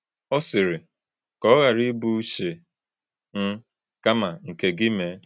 Ọ sịrị: “Ka ọ ọ ghara ịbụ uche m, kama nke gị mee.”